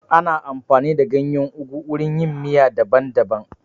Ana amfani da ganyen ugu wurin yin miya daban daban